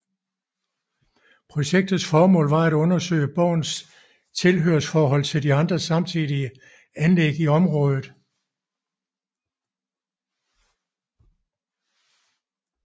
Projektets formål var at undersøge borgens tilhørsforhold til de andre samtidige anlæg i området